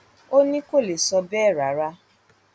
ó ní kò lè sọ bẹẹ rárá